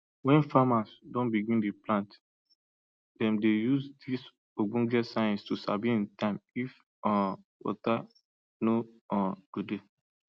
wen farmers don begin dey plant dem dey use dis ogbonge science to sabi in time if um water no um go dey